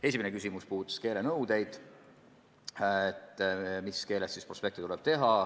Esimene küsimus puudutas keelenõudeid: mis keeles prospekte tuleb teha.